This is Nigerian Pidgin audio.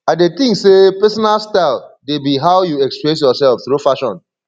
i dey think say pesinal style dey be how you express yourself through fashion